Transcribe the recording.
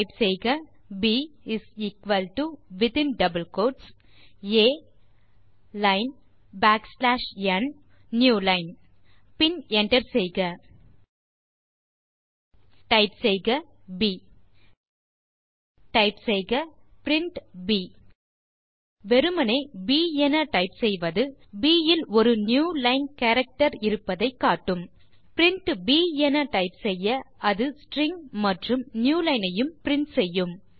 type செய்க ப் within double quotes ஆ லைன் பேக்ஸ்லாஷ் ந் புதிய லைன் பின் என்டர் செய்க டைப் செய்க ப் டைப் செய்க பிரின்ட் ப் வெறுமே ப் என டைப் செய்வது ப் இல் ஒரு நியூலைன் கேரக்டர் இருப்பதை காட்டும் பிரின்ட் ப் என டைப் செய்ய அது ஸ்ட்ரிங் ஐ மற்றும் நியூலைன் ஐயும் பிரின்ட் செய்யும்